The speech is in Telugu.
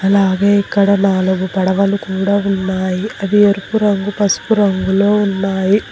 అలాగే ఇక్కడ నాలుగు పడవలు కూడా ఉన్నాయి అవి ఎరుపు రంగు పసుపు రంగులో ఉన్నాయి.